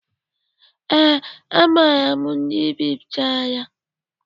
Ee, a maara ndị bipụtara ya